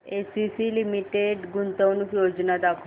ACC limited गुंतवणूक योजना दाखव